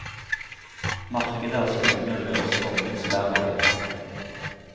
Markedet er skolene og deres formingslærere.